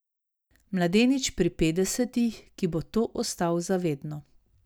Mladenič pri petdesetih, ki bo to ostal za vedno.